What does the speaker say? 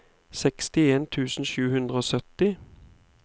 sekstien tusen sju hundre og sytti